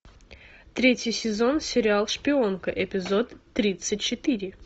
третий сезон сериал шпионка эпизод тридцать четыре